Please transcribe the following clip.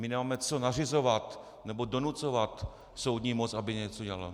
My nemáme co nařizovat nebo donucovat soudní moc, aby něco dělala.